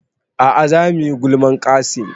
A'a za muyi gulman Qassim